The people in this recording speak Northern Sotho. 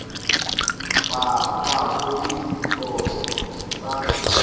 bakwago ke ditiro t a